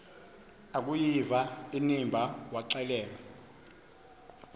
akuyiva inimba waxelela